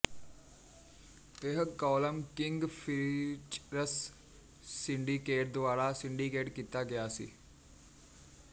ਇਹ column King Features Syndicate ਦੁਆਰਾ syndicate ਕੀਤਾ ਗਿਆ ਸੀ